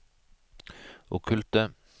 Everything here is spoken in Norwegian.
okkulte